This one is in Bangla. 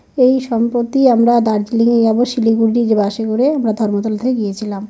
এই সম্প্রতি আমরা দার্জিলিং এ যাব। শিলিগুড়ি যে বাস -এ করে। আমরা ধর্মতলা থেকে গিয়েছিলাম।